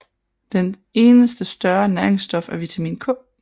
Dens eneste større næringsstof er vitamin K